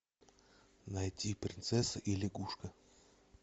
найти принцесса и лягушка